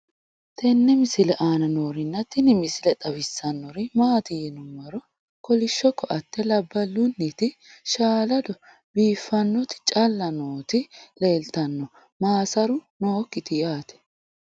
tenne misile aana noorina tini misile xawissannori maati yinummoro kolishsho koatte labbalunnitti shaalado biiffannotti calla nootti leelittanno maassaru nookkitti yaatte